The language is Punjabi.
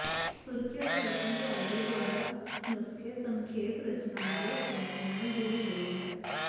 ਸੁਰੱਖਿਅਤ ਵਰਤੋਂ ਤੁਹਾਡੇ ਦੁਆਰਾ ਨੁਸਖੇ ਸੰਖੇਪ ਰਚਨਾ ਦੇ ਸਮਝ ਨਾਲ ਜੁੜੀ ਹੋਈ ਹੈ